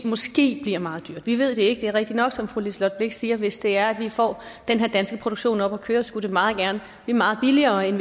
måske bliver meget dyrt vi ved det ikke det er rigtigt nok som fru liselott blixt siger at hvis det er at vi får den her danske produktion op at køre skulle det meget gerne blive meget billigere end